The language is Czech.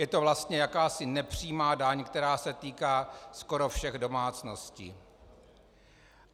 Je to vlastně jakási nepřímá daň, která se týká skoro všech domácností.